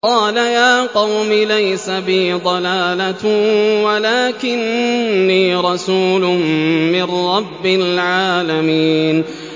قَالَ يَا قَوْمِ لَيْسَ بِي ضَلَالَةٌ وَلَٰكِنِّي رَسُولٌ مِّن رَّبِّ الْعَالَمِينَ